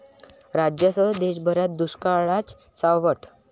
राज्यासह देशभरात दुष्काळाचं सावट